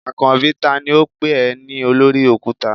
Akanbi tani o pe e ni olori okuta?